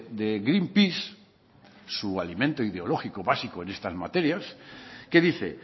de greenpeace su alimento ideológico básico en estas materias que dice